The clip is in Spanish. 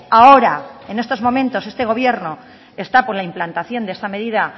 ahora en estos momentos este gobierno está por la implantación de esta medida